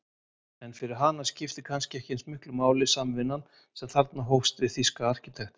En fyrir hana skipti kannski eins miklu máli samvinnan sem þarna hófst við þýska arkitektinn